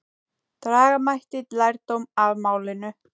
Draga mætti lærdóm af málinu.